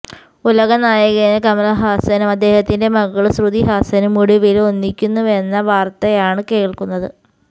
ഉലകനായകന് കമല്ഹാസനും അദ്ദേഹത്തിന്റെ മകള് ശ്രുതി ഹാസനും ഒടുവില് ഒന്നിക്കുന്നുവെന്ന വാര്ത്തയാണ് കേള്ക്കുന്നത്